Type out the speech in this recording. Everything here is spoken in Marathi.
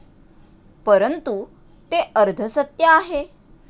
परंतु, ते अर्धसत्य आहे.